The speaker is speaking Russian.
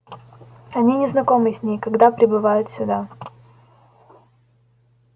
они не знакомы с ней когда прибывают сюда